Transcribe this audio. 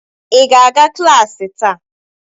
Ị ga-aga klaasị taa?